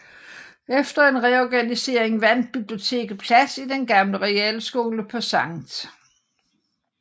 Efter en reorganisering fandt biblioteket plads i den gamle realskole på Sct